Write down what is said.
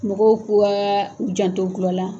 Mɔgɔw ka u janto gulɔ la